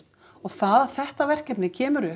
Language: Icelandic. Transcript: og það að þetta verkefni kemur upp